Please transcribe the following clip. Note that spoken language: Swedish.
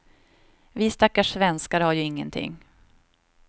Vi stackars svenskar har ju ingenting.